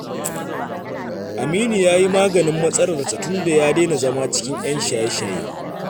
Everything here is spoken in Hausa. Aminu ya yi maganin matsalarsa tunda ya daina zama cikin 'yan shaye-shaye